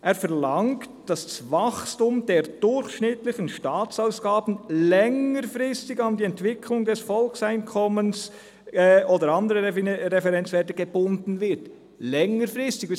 Er verlangt, dass das Wachstum «der durchschnittlichen Staatsausgaben längerfristig an die Entwicklung des Volkseinkommens oder von anderen Referenzwerten gebunden wird» – längerfristig.